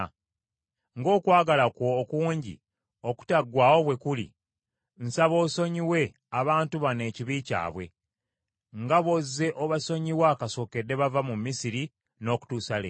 Ng’okwagala kwe okungi okutaggwaawo bwe kuli, nsaba osonyiwe abantu bano ekibi ky’abwe, nga bw’ozze obasonyiwa kasookedde bava mu Misiri n’okutuusa leero.”